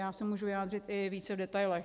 Já se můžu vyjádřit i více v detailech.